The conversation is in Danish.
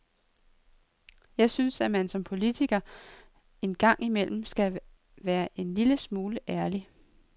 Jeg synes, at man som politiker en gang imellem skal være en lille smule ærlig.